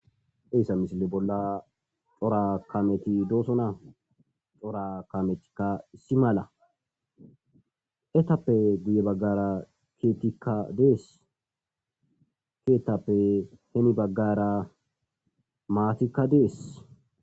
Eesa misile bolla xora kameti doosona xora kametikka si mala etappe guye baggara keetikka dees keetappe heni baggara maatikka dees.